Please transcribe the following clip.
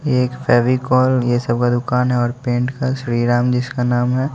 ये एक फेविकॉल ये सब का दुकान है और पेंट का श्रीराम जिसका नाम है।